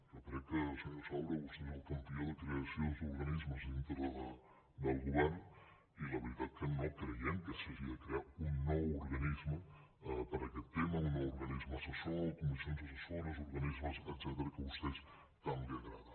jo crec que senyor saura vostè és el campió de creació d’organismes dintre del govern i la veritat no creiem que s’hagi de crear un nou organisme per a aquest tema un nou organisme assessor comissions assessores organismes etcètera que a vostè tant li agrada